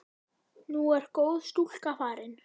Nú er góð stúlka farin.